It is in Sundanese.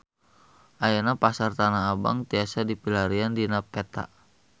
Ayeuna Pasar Tanah Abang tiasa dipilarian dina peta